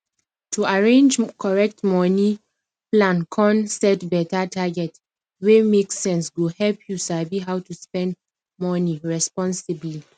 to arrange correct money plancon set better target wey make sense go help you sabi how to spend money responsibly